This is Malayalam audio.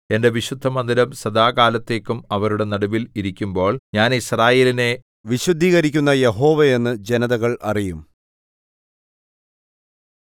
എന്റെ വിശുദ്ധമന്ദിരം സദാകാലത്തേക്കും അവരുടെ നടുവിൽ ഇരിക്കുമ്പോൾ ഞാൻ യിസ്രായേലിനെ വിശുദ്ധീകരിക്കുന്ന യഹോവയെന്ന് ജനതകൾ അറിയും